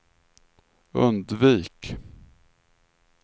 undvik